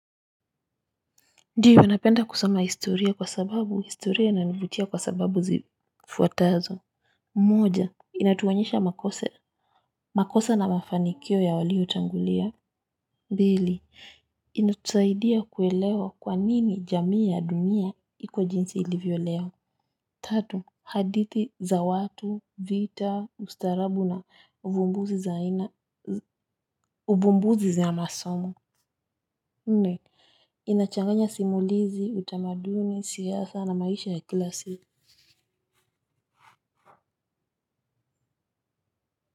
Ndiyo napenda kusoma historia kwa sababu historia inanivutia kwa sababu zifuatazo. Moja inatuonyesha makosa na mafanikio ya waliotangulia pili inatusaidia kuelewa kwanini jamii ya dunia iko jinsi ilivyo leo. Tatu hadithi za watu vita ustarabu na uvumbuzi za masomo nne inachanganya simulizi utamaduni siasa na maisha ya kila siku.